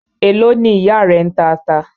Èló ni ìyá rẹ ń ta ata?